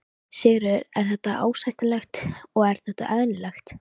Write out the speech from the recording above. Sigríður: Er þetta ásættanlegt og er þetta eðlilegt?